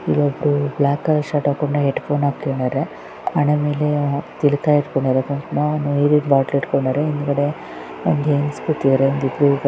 ಇಲ್ಲೊಬ್ಬ black colour shirt ಹಾಕೊಂಡು ಹೆಡ್ ಫೋನ್ಹಾಕ್ಕೊಂಡಿದ್ದಾರೆ ಹಣೆ ಮೇಲೆ ತಿಲಕ ಇಟ್ಕೊಂಡಿದ್ದಾರೆ ನೀರಿನ ಬಾಟಲ್ ಇಟ್ಕೊಂಡಿದ್ದಾರೆ ಹಿಂದುಗಡೆ ಒಂದುಹೆಂಗಸ ಕುಂತಿದ್ದಾರೆ .